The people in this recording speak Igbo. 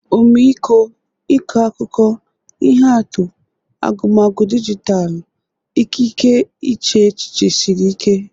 Ọmịiko, ịkọ akụkọ, ihe atụ, agụmagụ dijitalụ, ikike iche echiche siri ike.